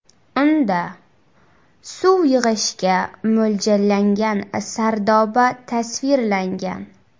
Unda suv yig‘ishga mo‘ljallangan sardoba tasvirlangan.